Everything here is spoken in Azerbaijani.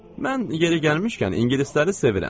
Mən yeri gəlmişkən ingilisləri sevirəm.